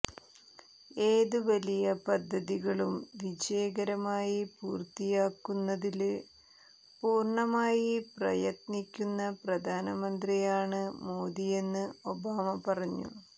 ഏത് വലിയ പദ്ധതികളും വിജകരമായി പൂര്ത്തിയാക്കുന്നതില് പൂര്ണമായി പ്രയത്നിക്കുന്ന പ്രധാനമന്ത്രിയാണ് മോദിയെന്ന് ഒബാമ പറഞ്ഞു